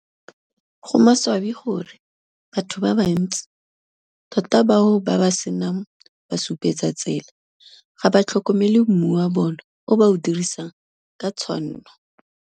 Go maswabi gore, batho ba bantsi, tota bao ba ba se nang basupetsatsela ga ba tlhokomele mmu wa bona o ba o dirisang ka tshwanno.